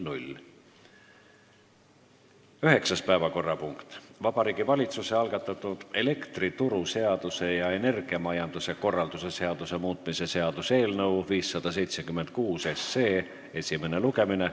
Üheksas päevakorrapunkt: Vabariigi Valitsuse algatatud elektrituruseaduse ja energiamajanduse korralduse seaduse muutmise seaduse eelnõu 576 esimene lugemine.